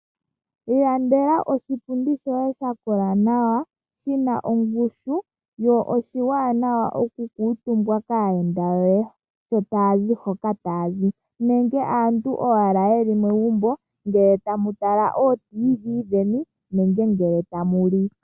Ilandele oshipundi shoye sha kola nawa shi na ongushu wo sho oshiwanawa oku kuutumbwa kaayenda yoye sho taya zi hoka taya zi nenge aantu owala ye li megumbo ngele tamu tala ooTV dheni nenge ngele tamu li.